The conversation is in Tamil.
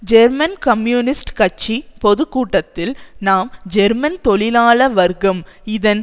ஜெர்மன் கம்யூனிஸ்ட் கட்சி பொது கூட்டத்தில் நாம் ஜெர்மன் தொழிலாள வர்க்கம் இதன்